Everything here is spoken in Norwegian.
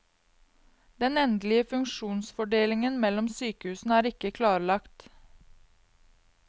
Den endelige funksjonsfordelingen mellom sykehusene er ikke klarlagt.